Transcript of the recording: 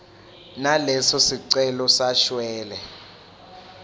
naleso sicelo sashwele